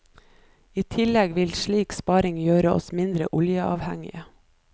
I tillegg vil slik sparing gjøre oss mindre oljeavhengige.